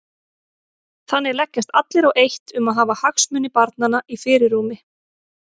Þannig leggjast allir á eitt um að hafa hagsmuni barnanna í fyrirrúmi.